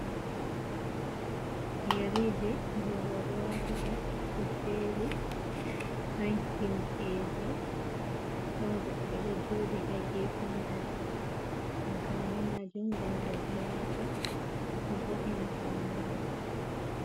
"Yeriji" je robe watata ɓe jeri don himɓeji ɗon goɗɗo ɗo joɗi ha gefe majum amfani majum ngam roɓe wata vo’ina faune.